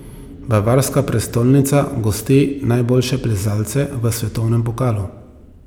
Bavarska prestolnica gosti najboljše plezalce v svetovnem pokalu.